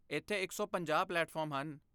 ਇੱਥੇ ਇਕ ਸੌ ਪੰਜਾਹ ਪਲੇਟਫਾਰਮ ਹਨ